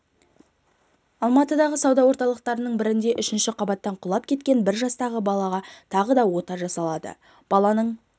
алматыдағы сауда орталықтарының бірінде үшінші қабаттан құлап кеткен бір жастағы балаға тағы да ота жасалады баланың